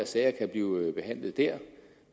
sager kan blive behandlet dér